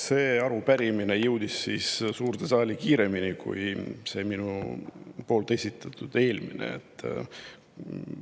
See arupärimine jõudis suurde saali kiiremini kui minu esitatud eelmine.